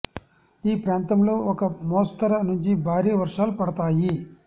ఈ ప్రాంతం లో ఒక మోస్తరు నుంచి భారీ వర్షాలు పడతాయి